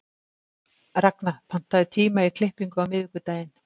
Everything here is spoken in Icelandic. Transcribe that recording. Ragna, pantaðu tíma í klippingu á miðvikudaginn.